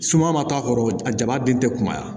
Suma ma to a kɔrɔ a jabaden tɛ kunbaya